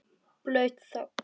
Blaut þögn.